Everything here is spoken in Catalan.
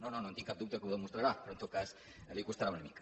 no no no en tinc cap dubte que ho demostrarà però en tot cas li costarà una mica